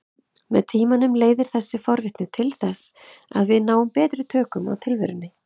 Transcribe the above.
Með tímanum leiðir þessi forvitni til þess að við náum betri tökum á tilverunni.